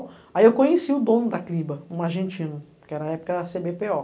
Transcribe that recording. Aí eu conheci o dono da CLIBA, um argentino, que na época era a cê bê pê ô